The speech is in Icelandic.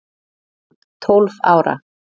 Tólf ára